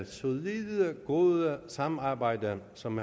solide gode samarbejde som